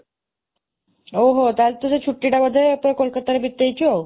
ଅଃ, ତାହାଲେ ତୁ ସେ ଛୁଟି ଟା ବୋଧେ ପୁରା କୋଲକତାରେ ବିତେଇଛୁ ଆଉ